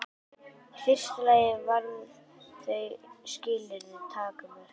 Í fyrsta lagi varða þau skilyrði tímamörk.